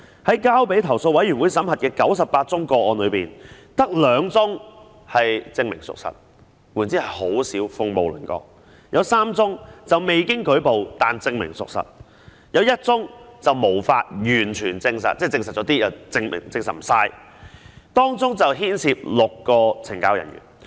在交予投訴委員會審核的98宗個案中，只有2宗為"證明屬實"，換言之是很少，只是鳳毛麟角；有3宗為"未經舉報但證明屬實"；有1宗為"無法完全證實"，即證實了部分，又未能完全證實，當中牽涉6個懲教人員。